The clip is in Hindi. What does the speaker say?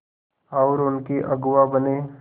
और उनके अगुआ बने